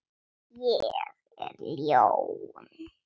Ég er ljón.